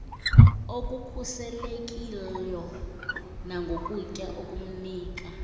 okukhuselekilyo nangokutya okunika